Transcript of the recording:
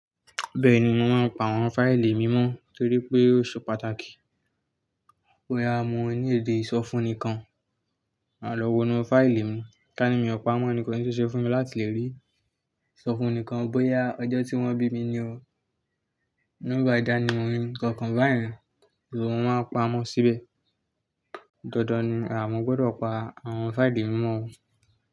Bẹ́ẹ̀ni, mo máa ń pa àwọn fáìlì mi mọ́ torí pé ó ṣe pàtàkì. Bóyá mo ní èdè ìsọfúnnikan, máa lọ wo inú fáìlì mi, ká ní mi ò pa mọ́ ni kò ni ṣeé ṣe fún mi láti lè rí. Sọ fún ẹnì kan bóyá ọjọ́ tí wọ́n bí mi ni o. Bí numba ìdánimọ̀ mí ikankan bá yẹn, so máa ń pa mọ́ síbẹ̀. Dandan ni àwọn gbọ́dọ̀ pa àwọn fáìlì mí mọ́ o.